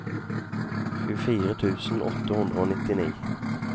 tjuefire tusen åtte hundre og nittini